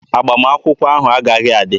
Agbamakwụkwọ a agaghị adị!